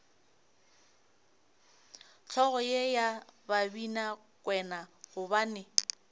hlogo ye ya babinakwena gobane